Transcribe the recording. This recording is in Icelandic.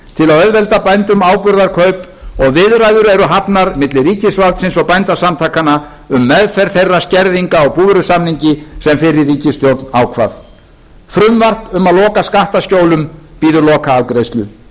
auðvelda bændum áburðarkaup og viðræður eru hafnar milli ríkisvaldsins og bændasamtakanna um meðferð þeirra skerðinga á búvörusamningi sem fyrri ríkisstjórn ákvað frumvarp um að loka skattaskjólum bíður lokaafgreiðslu mikilvæg frumvörp